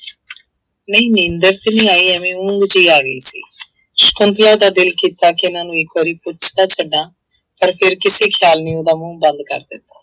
ਨਹੀਂ ਨੀਂਦਰ ਤੇ ਨਹੀਂ ਆਈ ਐਵੇਂ ਊਂਘ ਜਿਹੀ ਆ ਗਈ ਸੀ ਸਕੁੰਤਲਾ ਦਾ ਦਿਲ ਕੀਤਾ ਕਿ ਇਹਨਾਂ ਨੂੰ ਇੱਕ ਵਾਰੀ ਪੁੱਛ ਤਾਂ ਛੱਡਾਂ ਪਰ ਫਿਰ ਕਿਸੇ ਖਿਆਲ ਨੇ ਉਹਦਾ ਮੂੰਹ ਬੰਦ ਕਰ ਦਿੱਤਾ।